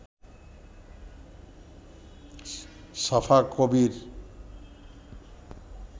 সাফা কবির